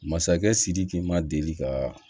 Masakɛ sidiki ma deli ka